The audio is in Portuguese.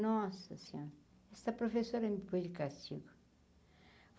Nossa senhora, essa professora me pôs de castigo.